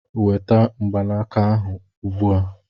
Weta mgbanaka ahụ ugbu a!